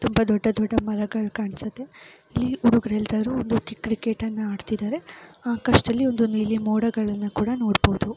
ತುಂಬಾ ದೊಡ್ಡ ದೊಡ್ಡ ಮರಗಳು ಕಾಣ್ಸುತ್ತೆ ಈ ಹುಡುಗ್ರು ಎಲ್ಲರೂ ಒಂದ್ರೀತಿ ಕ್ರಿಕೆಟನ್ನ ಆಡ್ತಿದ್ದಾರೆ ಆಕಾಶದ್ದಲ್ಲಿ ಒಂದು ನೀಲಿ ಮೋಡಗಳನ್ನ ಕೂಡಾ ನೋಡಬಹುದು.